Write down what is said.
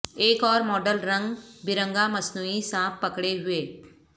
ایک اور ماڈل رنگ برنگا مصنوئی سانپ پکڑے ہوئے